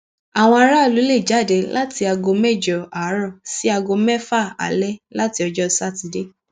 àwọn aráàlú lè jáde láti aago mẹjọ àárọ sí aago mẹfà alẹ láti ọjọ sátidé